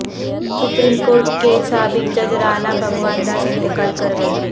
supreme court کے سابق جج رانا بھگوان داس انتقال کر گئے